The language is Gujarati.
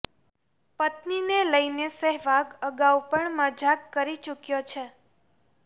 પત્નીને લઇને સહેવાગ અગાઉ પણ મજાક કરી ચૂક્યો છે